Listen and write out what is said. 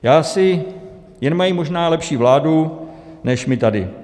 Já si... jen mají možná lepší vládu než my tady.